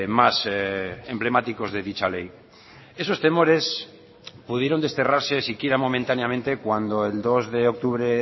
más emblemáticos de dicha ley esos temores pudieron desterrarse si quiera momentáneamente cuando el dos de octubre